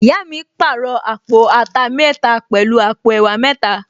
Ìyá mi pàrọ̀ àpò ata mẹ́ta pẹ̀lú àpò ẹ̀wà mẹ́ta